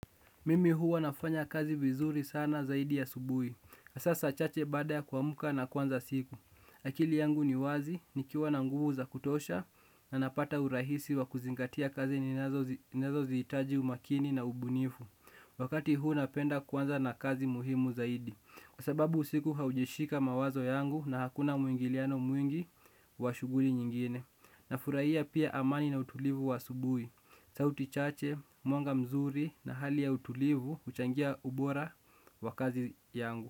Mimi huwa nafanya kazi vizuri sana zaidi asubuhi. Saa chache baada ya kuamka nakuanza siku. Akili yangu ni wazi, nikiwa na nguvu za kutosha, na napata urahisi wa kuzingatia kazi ninazohitaji umakini na ubunifu. Wakati huu napenda kwanza na kazi muhimu zaidi. Kwa sababu usiku haujashika mawazo yangu na hakuna mwingiliano mwingi wa shughuli nyingine. Nafurahia pia amani na utulivu wa asubuhi. Sauti chache, mwanga mzuri na hali ya utulivu, huchangia ubora wa kazi yangu.